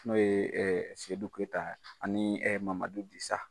N'o ye Sedu Keita ani Mamadu Disa.